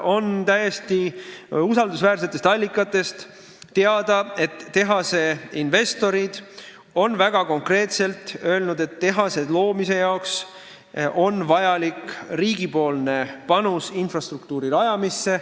On täiesti usaldusväärsetest allikatest teada, et investorid on väga konkreetselt öelnud, et tehase püstitamiseks on vaja riigi panust infrastruktuuri rajamisse.